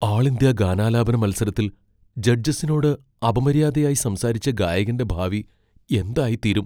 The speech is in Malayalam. ആൾ ഇന്ത്യ ഗാനാലാപന മത്സരത്തിൽ ജഡ്ജസിനോട് അപമര്യാദയായി സംസാരിച്ച ഗായകന്റെ ഭാവി എന്തായിത്തീരും.